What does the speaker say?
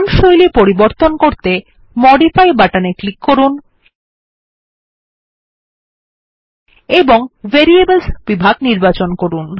font শৈলী পরিবর্তন করতে মডিফাই বাটনে ক্লিক করুন এবং ভ্যারিয়েবলস বিভাগ নির্বাচন করুন